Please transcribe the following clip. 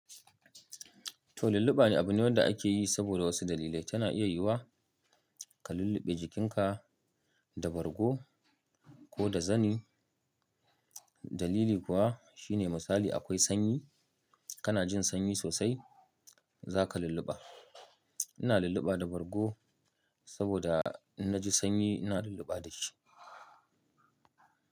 To lulluɓa abune wanda akeyi saboda wasu dalilai. Tana iya yiwuwa ka lulluɓe jikinka da bargo koda zani. Dalili kuwa shine misali akwai sanyi, kana jin sanyi sosai zaka lulluɓa. Ina lulluɓa da bargo saboda innaji sanyi ina lulluɓa dashi.